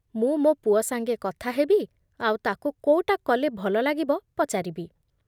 ମୁଁ ମୋ ପୁଅ ସାଙ୍ଗେ କଥା ହେବି ଆଉ ତାକୁ କୋଉଟା କଲେ ଭଲ ଲାଗିବ ପଚାରିବି ।